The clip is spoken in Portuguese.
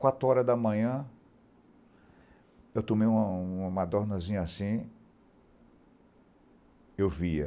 Quatro horas da manhã, eu tomei uma uma dornazinha assim, eu via.